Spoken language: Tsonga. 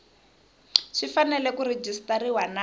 swi fanele ku rejistariwa na